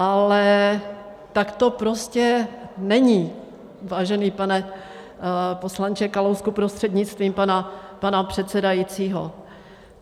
Ale tak to prostě není, vážený pane poslanče Kalousku prostřednictvím pana předsedajícího.